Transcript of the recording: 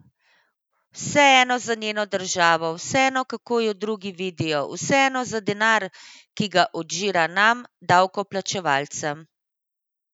Vseeno za njeno državo, vseeno, kako jo drugi vidijo, vseeno za denar, ki ga odžira nam, davkoplačevalcem.